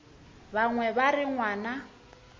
ba bangwe ba re ngwana